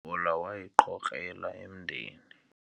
ibhola wayiqhokrela emdeni